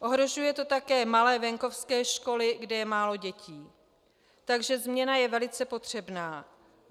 Ohrožuje to také malé venkovské školy, kde je málo dětí, takže změna je velice potřebná.